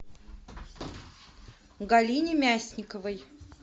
галине мясниковой